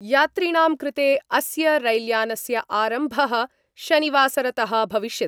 यात्रिणां कृते अस्य रैल्यानस्य आरम्भ: शनिवासरत: भविष्यति।